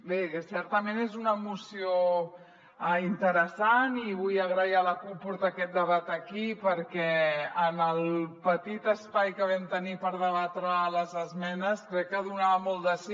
bé certament és una moció interessant i vull agrair a la cup portar aquest debat aquí perquè en el petit espai que vam tenir per debatre les esmenes crec que donava molt de si